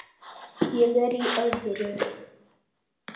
Ég er í öðru.